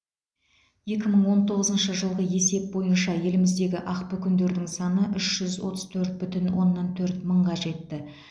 екі мың он тоғызыншы жылғы есеп бойынша еліміздегі ақбөкендердің саны үш жүз отыз төрт бүтін оннан төрт мыңға жетті